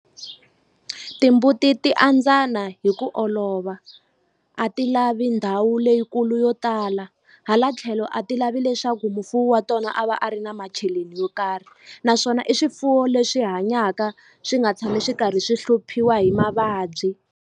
Timbuti ti andzana hi ku olova a ti lavi ndhawu leyikulu yo tala hala tlhelo a ti lavi leswaku mufuwi wa tona a va a ri na macheleni yo karhi naswona i swifuwo leswi hanyaka swi nga tshami swi karhi swi hluphiwa hi mavabyi.